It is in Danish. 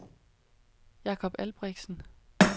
Jakob Albrechtsen